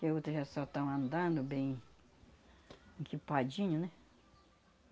Que outras já só tão andando bem equipadinho, né?